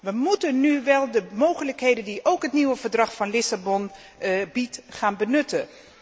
We moeten nu wel de mogelijkheden die ook het nieuwe Verdrag van Lissabon biedt, gaan benutten.